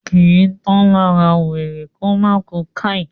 kìí tán lára wèrè kómá ku "káì"